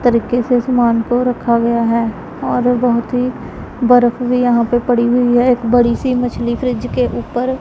तरीके से समान को रखा गया हैं और बहोत ही बर्फ भीं यहाँ पे पड़ी हुई हैं एक बड़ी सी मछली फ्रिज के ऊपर--